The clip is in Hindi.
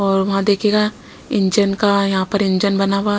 और वहां देखिएगा इंजन का यहां पर इंजन बना हुआ--